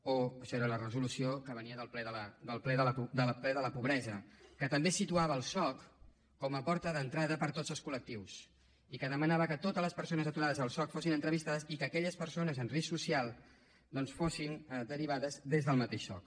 això era la resolució que venia del ple de la pobresa que també situava el soc com a porta d’entrada per a tots els col·lectius i demanava que totes les persones aturades al soc fossin entrevistades i que aquelles persones en risc social fossin derivades des del mateix soc